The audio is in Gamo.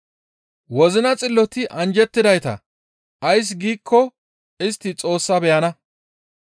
Wozina xilloti anjjettidayta; ays giikko istti Xoossa beyana.